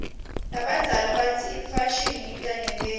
labadzala batsi imfashini ita nebubi